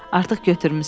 Artıq götürmüsən.